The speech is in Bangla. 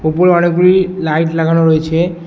উপরে অনেকগুলি লাইট লাগানো রয়েছে।